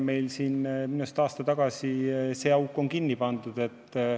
Minu arust on see auk aasta tagasi kinni pandud.